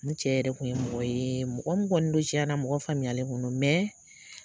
N cɛ yɛrɛ kun ye mɔgɔ yee mɔgɔ min kɔni do tiɲɛna mɔgɔ faamuyalen kun do